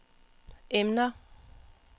emner